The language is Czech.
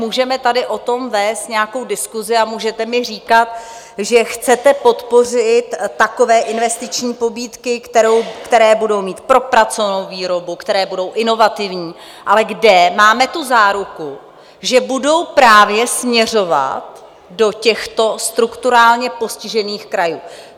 Můžeme tady o tom vést nějakou diskusi a můžete mi říkat, že chcete podpořit takové investiční pobídky, které budou mít propracovanou výrobu, které budou inovativní, ale kde máme tu záruku, že budou právě směřovat do těchto strukturálně postižených krajů?